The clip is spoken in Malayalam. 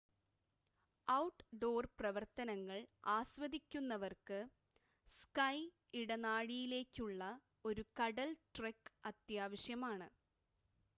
ഔട്ട്ഡോർ പ്രവർത്തനങ്ങൾ ആസ്വദിക്കുന്നവർക്ക് സ്കൈ ഇടനാഴിയിലേക്കുള്ള ഒരു കടൽ ട്രെക്ക് അത്യാവശ്യമാണ്